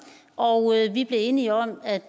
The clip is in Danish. og vi blev enige om at